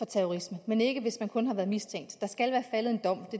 terrorisme men ikke hvis man kun har været mistænkt der skal være faldet en dom